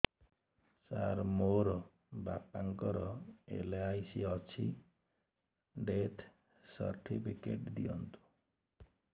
ସାର ମୋର ବାପା ଙ୍କର ଏଲ.ଆଇ.ସି ଅଛି ଡେଥ ସର୍ଟିଫିକେଟ ଦିଅନ୍ତୁ